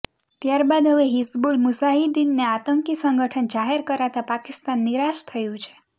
ત્યારબાદ હવે હિઝબુલ મુઝાહિદ્દીનને આતંકી સંગઠન જાહેર કરાતા પાકિસ્તાન નિરાશ થયું છે